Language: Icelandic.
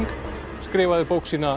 skrifaði bók sína